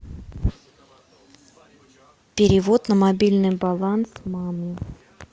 перевод на мобильный баланс маме